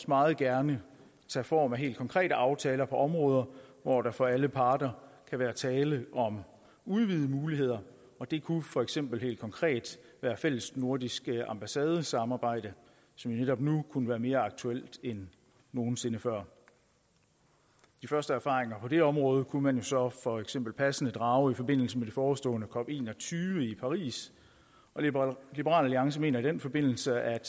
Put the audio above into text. meget gerne tage form af helt konkrete aftaler på områder hvor der for alle parter kan være tale om udvidede muligheder det kunne for eksempel helt konkret være et fællesnordisk ambassadesamarbejde som netop nu kunne være mere aktuelt end nogen sinde før de første erfaringer på det område kunne man jo så for eksempel passende drage i forbindelse med det forestående cop21 i paris liberal alliance mener i den forbindelse at